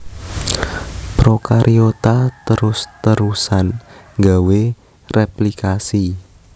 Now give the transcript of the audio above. Prokariota terus terusan gawé réplikasi